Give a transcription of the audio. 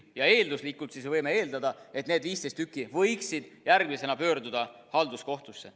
Ja eelduslikult võime eeldada, et need 15 tükki võiksid järgmisena pöörduda halduskohtusse.